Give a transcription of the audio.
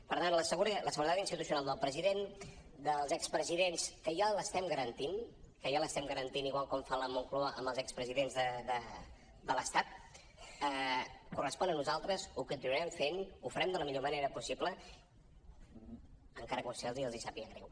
per tant la seguretat institucional del president dels expresidents que ja l’estem garantint que ja l’estem garantint igual que fa la moncloa amb els expresidents de l’estat ens correspon a nosaltres ho continuarem fent ho farem de la millor manera possible encara que a vostès els sàpiga greu